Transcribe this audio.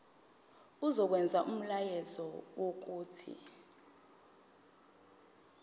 izokwenza umyalelo wokuthi